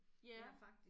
Ja